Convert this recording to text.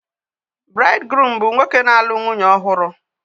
Braidgruum bụ nwoke na-alụ nwunye ọhụrụ